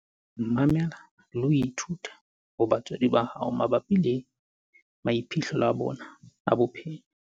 Mamela le ho ithuta ho batswadi ba hao mabapi le maiphihlelo a bona a bophelo.